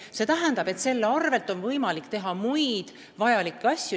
See tähendab, et kokku hoitud rahaga on võimalik teha muid vajalikke asju.